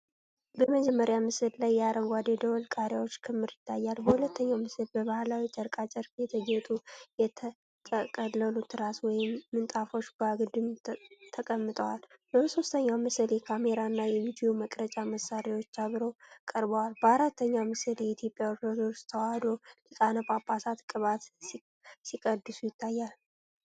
በመጀመሪያው ምስል ላይ የአረንጓዴ ደወል ቃሪያዎች ክምር ይታያል። በሁለተኛው ምስል በባህላዊ የጨርቃጨርቅ የተጌጡ የተጠቀለሉ ትራስ ወይም ምንጣፎች በአግድም ተቀምጠዋል። በሦስተኛው ምስል የካሜራ እና የቪዲዮ መቅረጫ መሳሪያዎች አብረው ቀርበዋል። በአራተኛው ምስል የኢትዮጵያ ኦርቶዶክስ ተዋሕዶ ሊቃነ ጳጳሳት ቅባት ሲቀድሱ ይታያል።